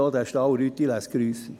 Der Fall Rütti lässt grüssen.